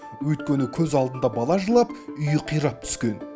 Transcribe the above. өйткені көз алдында бала жылап үйі қирап түскен